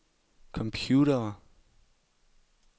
computere